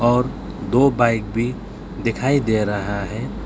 और दो बाइक भी दिखाई दे रहा है।